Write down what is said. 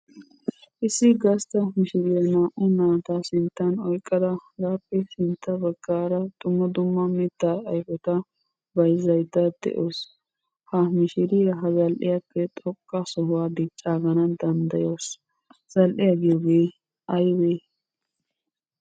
Issi gastta mishiriya naa"u naata sinttan oyqqada hegaappe sintta baggaara dumma dumma mittaa ayfeta bayzzaydda de"awusu. Ha mishiriya ha zal"iyaappe xoqqa sohuwaa diccaaganaw danddayawusu. Zal"iyaa giyoogee aybee?